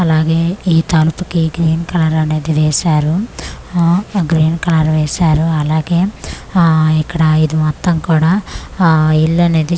అలాగే ఈ తలుపుకి గ్రీన్ కలర్ అనేది వేసారు ఆ గ్రీన్ కలర్ వేసారు అలాగే ఆ ఇక్కడ ఇది మొత్తం కూడా ఆ ఇల్లనేది--